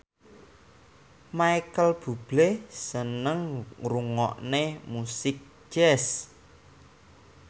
Micheal Bubble seneng ngrungokne musik jazz